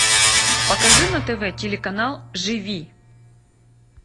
покажи на тв телеканал живи